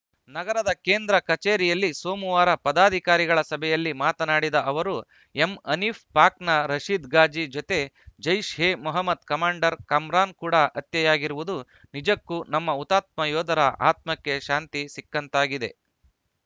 ನಗರದ ಕೇಂದ್ರ ಕಚೇರಿಯಲ್ಲಿ ಸೋಮವಾರ ಪದಾಧಿಕಾರಿಗಳ ಸಭೆಯಲ್ಲಿ ಮಾತನಾಡಿದ ಅವರು ಎಂ ಹನೀಫ್‌ ಪಾಕ್‌ನ ರಶೀದ್‌ಘಾಜಿ ಜೊತೆ ಜೈಷ್‌ ಎಮೊಹ್ಮದ್‌ ಕಮಾಂಡರ್‌ ಕಮ್ರಾನ್‌ ಕೂಡ ಹತ್ಯೆಯಾಗಿರುವುದು ನಿಜಕ್ಕೂ ನಮ್ಮ ಹುತಾತ್ಮ ಯೋಧರ ಆತ್ಮಕ್ಕೆ ಶಾಂತಿ ಸಿಕ್ಕಂತಾಗಿದೆ